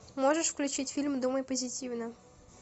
можешь включить фильм думай позитивно